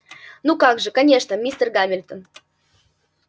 ну как же конечно мистер гамильтон